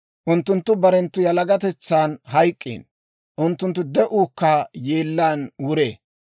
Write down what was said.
Unttunttu barenttu yalagatetsan hayk'k'iino; unttunttu de'uukka yeellaan wuree.